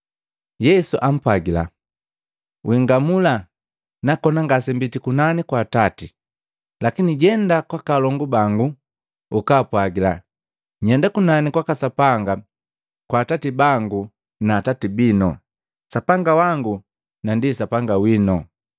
Yesu ampwagila, “Wingamu, nakonaa ngasembiti kunani kwa Atati. Lakini jenda kwaka alongu bangu ukaapwagila, nyenda kunani kwaka Sapanga kwa Atati bangu na Atati binu, Sapanga wangu na ndi Sapanga winu.”